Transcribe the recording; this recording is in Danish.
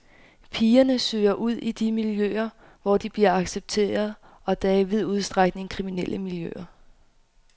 Pigerne søger ud i de miljøer, hvor de bliver accepteret, og det er i vid udstrækning kriminelle miljøer.